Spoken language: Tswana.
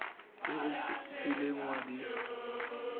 tse o kileng wa di